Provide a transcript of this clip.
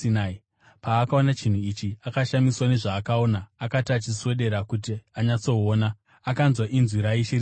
Paakaona chinhu ichi, akashamiswa nezvaakaona. Akati achiswedera kuti anyatsoona, akanzwa inzwi raIshe richiti,